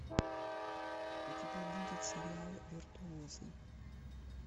у тебя будет сериал виртуозы